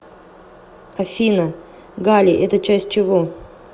афина галлий это часть чего